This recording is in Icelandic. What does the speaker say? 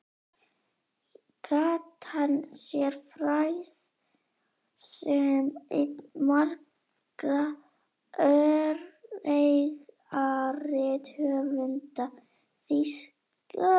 Gat hann sér frægð sem einn margra öreigarithöfunda Þýska kommúnistaflokksins.